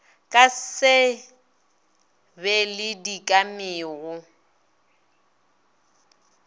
ka se be le dikamego